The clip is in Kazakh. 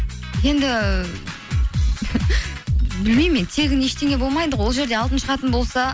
енді білмеймін мен тегін ештеңе болмайды ғой ол жерде алтын шығатын болса